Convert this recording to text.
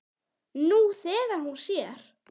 Nú þegar hún sér.